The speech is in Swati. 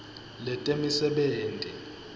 letemisebenti